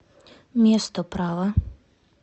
место права